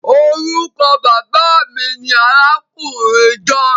Orúkọ Bàbá mí ní arákùnrin john